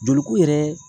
Joli ko yɛrɛ